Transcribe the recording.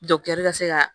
ka se ka